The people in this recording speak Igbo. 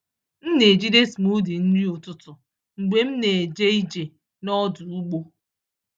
M na-ejide smoothie nri ụtụtụ mgbe m na-eje ije n’ọdụ ụgbọ.